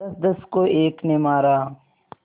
दसदस को एक ने मारा